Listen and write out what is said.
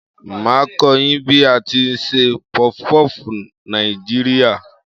Màá a kó yín bí a tí n se pufupúfù Nàìjíríà